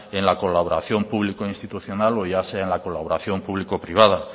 en la colaboración público institucional o ya sea en la colaboración público privada